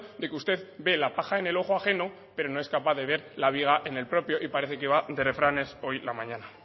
de que usted ve la paja en el ojo ajeno pero no es capaz de ver la viga en el propio y parece que va de refranes hoy la mañana